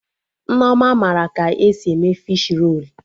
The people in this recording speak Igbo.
Nneoma mara ka esi eme fishi rolu